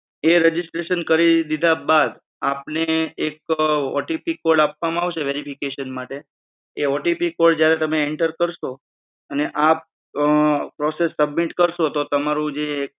એ registration કરી દીધા બાદ આપને એક OTPcode આપવામાં આવશે verification માટે. એ OTPcode જ્યારે તમે enter કરશો અને આ process submit કરશો તો તમારું જે